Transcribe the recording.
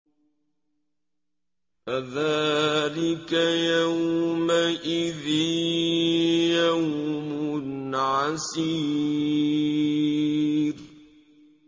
فَذَٰلِكَ يَوْمَئِذٍ يَوْمٌ عَسِيرٌ